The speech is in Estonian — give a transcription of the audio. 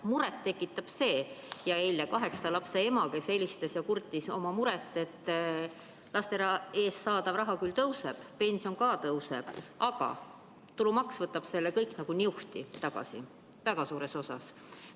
Muret tekitab järgnev: eile helistas kaheksa lapse ema ja kurtis, et laste eest saadav raha küll tõuseb, pension ka tõuseb, aga tulumaks võtab selle kõik nagu niuhti väga suures osas tagasi.